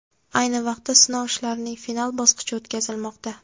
Ayni paytda sinov ishlarining final bosqichi o‘tkazilmoqda.